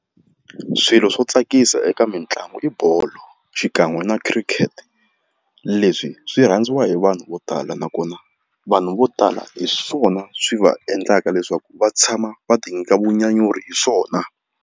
Swilo swo tsakisa eka mitlangu i bolo xikan'we na cricket leswi swi rhandziwa hi vanhu vo tala nakona vanhu vo tala hi swona swi va endlaka leswaku va tshama va ti nyika vunyanyuri hi swona.